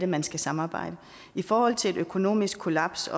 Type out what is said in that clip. man skal samarbejde i forhold til et økonomisk kollaps